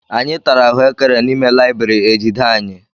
Anyị tara ahuekere n'ime layibiri ejide anyị.